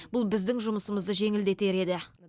бұл біздің жұмысымызды жеңілдетер еді